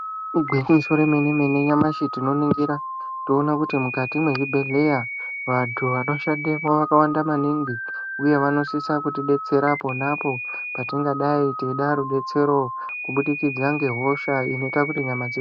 Igwinyiso remene-mene nyamshi tinoningira kuona kuti mukati mezvibhedhlera vantu vanoshandamo vanonakirwa maningi uye vanosisa kutidetsera patingadai teida rudetsero kubudikidza nehosha inoita kuti nyama dzedu.